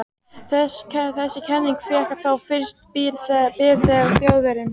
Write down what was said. Þessi kenning fékk þó fyrst byr þegar Þjóðverjinn